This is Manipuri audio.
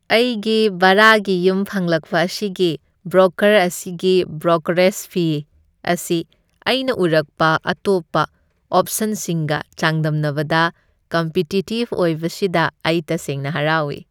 ꯑꯩꯒꯤ ꯚꯔꯥꯒꯤ ꯌꯨꯝ ꯐꯪꯂꯛꯄ ꯃꯁꯤꯒꯤ ꯕ꯭ꯔꯣꯀꯔ ꯑꯁꯤꯒꯤ ꯕ꯭ꯔꯣꯀꯔꯦꯖ ꯐꯤ ꯑꯁꯤ ꯑꯩꯅ ꯎꯔꯛꯄ ꯑꯇꯣꯞꯄ ꯑꯣꯞꯁꯟꯁꯤꯡꯒ ꯆꯥꯡꯗꯝꯅꯕꯗ ꯀꯝꯄꯤꯇꯤꯇꯤꯚ ꯑꯣꯢꯕꯁꯤꯗ ꯑꯩ ꯇꯁꯦꯡꯅ ꯍꯔꯥꯎꯏ꯫